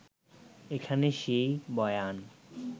এখানে সেই বয়ান